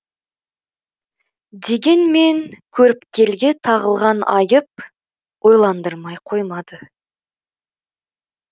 дегенмен көріпкелге тағылған айып ойландырмай қоймады